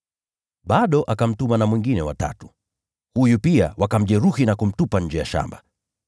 Bado akamtuma na mwingine wa tatu, huyu pia wakamjeruhi na kumtupa nje ya shamba.